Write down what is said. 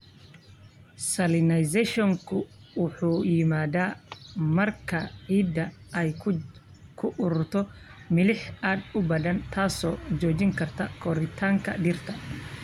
Salinization-ku wuxuu yimaadaa marka ciidda ay ku ururto milix aad u badan, taas oo joojin karta koritaanka dhirta.